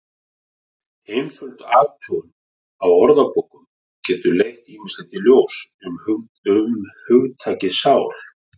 Einföld athugun á orðabókum getur leitt ýmislegt í ljós um hugtakið sál.